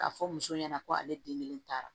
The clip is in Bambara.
K'a fɔ muso ɲɛna ko ale den kelen taara